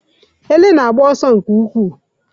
Ele na-agba ọsọ nke ukwuu